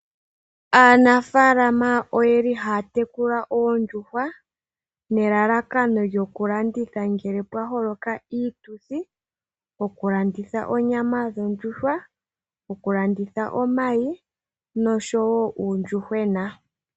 Aanafaalama oyeli haya tekula oondjuhwa nelalakano lyoku landitha ngele pwa holoka iituthi, oku landitha onyama yondjuhwa, oku landitha omayi nosho woo uuyuhwena.